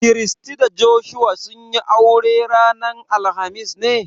Christy da Joshua sun yi aure ranar alhamis ne?